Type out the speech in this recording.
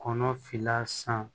Kɔnɔ finna san